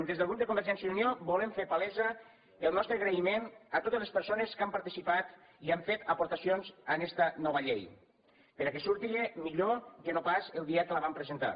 des del grup de convergència i unió volem fer palès el nostre agraïment a totes les persones que han participat i han fet aportacions en esta nova llei perquè surti millor que no pas el dia que la vam presentar